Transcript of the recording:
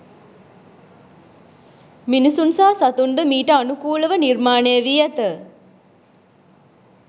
මිනිසුන් සහ සතුන්ද මීට අනුකූලව නිර්මාණය වී ඇත.